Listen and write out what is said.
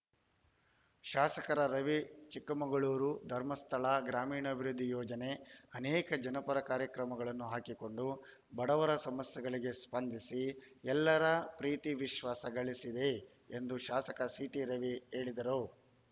ಶಾಸಕ ರವಿ ಚಿಕ್ಕಮಗಳೂರು ಧರ್ಮಸ್ಥಳ ಗ್ರಾಮೀಣಾಭಿವೃದ್ಧಿ ಯೋಜನೆ ಅನೇಕ ಜನಪರ ಕಾರ್ಯಕ್ರಮಗಳನ್ನು ಹಾಕಿಕೊಂಡು ಬಡವರ ಸಮಸ್ಯೆಗಳಿಗೆ ಸ್ಪಂದಿಸಿ ಎಲ್ಲರ ಪ್ರೀತಿ ವಿಶ್ವಾಸ ಗಳಿಸಿದೆ ಎಂದು ಶಾಸಕ ಸಿಟಿ ರವಿ ಹೇಳಿದರು